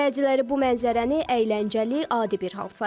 Bəziləri bu mənzərəni əyləncəli, adi bir hal sayır.